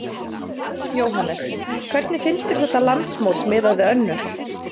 Jóhannes: Hvernig finnst þér þetta landsmót miðað við önnur?